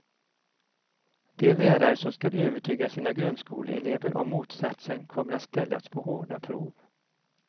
De lärare som skall övertyga sina grundskoleelever om motsatsen kommer att ställas på hårda prov.